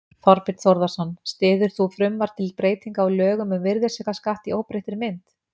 Þorbjörn Þórðarson: Styður þú frumvarp til breytinga á lögum um virðisaukaskatt í óbreyttri mynd?